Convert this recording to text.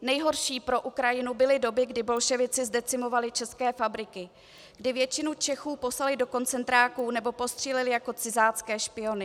Nejhorší pro Ukrajinu byly doby, kdy bolševici zdecimovali české fabriky, kdy většinu Čechů poslali do koncentráků nebo postříleli jako cizácké špiony.